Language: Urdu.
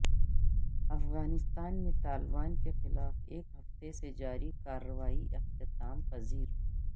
افغانستان میں طالبان کے خلاف ایک ہفتے سے جاری کاروائی اختتام پذیر